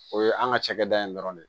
O ye an ka cakɛda in dɔrɔn de ye